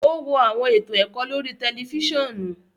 O wo awọn eto ẹkọ lori tẹlifisiọnu